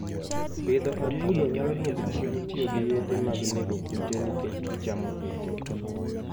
Pidho atudo nyalo dwoko chien tiyo gi yedhe mag nego kute nikech gichamo kute.